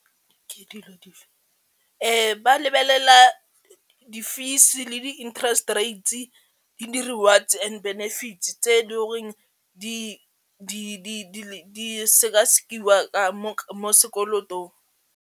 Ba lebelela di-fees le di-interest rates le di-rewards and benefits tse di goreng di sekasekiwa mo sekolotong.